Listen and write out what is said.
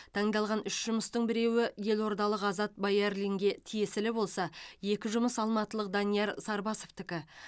таңдалған үш жұмыстың біреуі елордалық азат баярлинге тиесілі болса екі жұмыс алматылық данияр сарбасовтікі